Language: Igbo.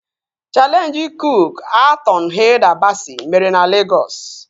Chaleenjị kook-a-tọn Hilda Basị mere na Legọs